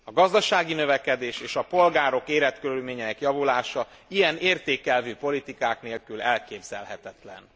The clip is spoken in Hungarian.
A gazdasági növekedés és a polgárok életkörülményeinek javulása ilyen értékelvű politikák nélkül elképzelhetetlen.